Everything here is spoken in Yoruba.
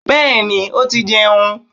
Bẹ́ẹ̀ni ó ti jẹun